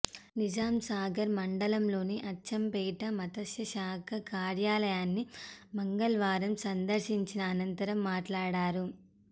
నిజాంసాగర్ మండలంలోని అచ్చంపేట మత్స్యశాఖ కార్యాలయాన్ని మంగళవారం సందర్శించిన అనంతరం మాట్లాడారు